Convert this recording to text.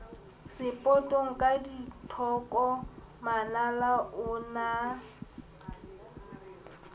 sepotong ka dithoko manala onaa